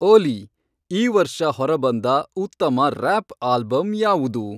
ಓಲೀ, ಈ ವರ್ಷ ಹೊರಬಂದ ಉತ್ತಮ ರ್ಯಾಪ್ ಆಲ್ಬಂ ಯಾವುದು